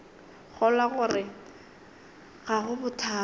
kgolwa gore ga go bothata